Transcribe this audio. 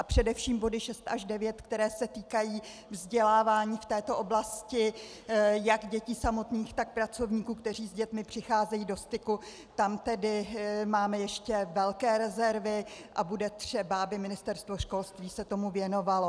A především body 6 až 9, které se týkají vzdělávání v této oblasti jak dětí samotných, tak pracovníků, kteří s dětmi přicházejí do styku, tam tedy máme ještě velké rezervy a bude třeba, aby Ministerstvo školství se tomu věnovalo.